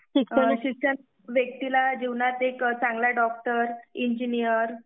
शिक्षण व्यक्तीला जीवनात एक चांगला डॉक्टर, इंजिनियर